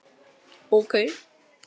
Lillý: Að fara með hana?